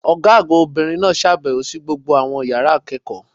Ọ̀gá àgbà Obìnrin náà sàbèwò sí gbogbo àwọn yàrá ìkéèkó